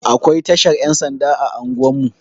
Akwai tashar Yan sanda a anguwan mu.